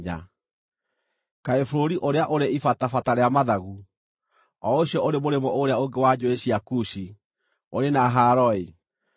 Kaĩ bũrũri ũrĩa ũrĩ ibatabata rĩa mathagu, o ũcio ũrĩ mũrĩmo ũrĩa ũngĩ wa njũũĩ cia Kushi, ũrĩ na haaro-ĩ!